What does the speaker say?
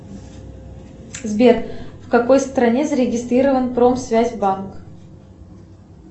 сбер в какой стране зарегистрирован промсвязьбанк